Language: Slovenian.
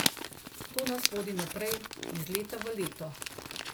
To nas vodi naprej, iz leta v leto.